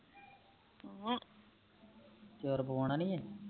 ਹਮ ਤੇ ਹੋਰ ਪਵੋਊਣਾ ਨਹੀਂ ਐ